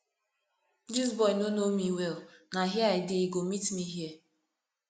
dis boy no know me well na here i dey he go meet me here